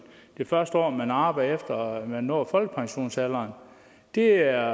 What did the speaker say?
det første år man arbejder efter man når folkepensionsalderen det er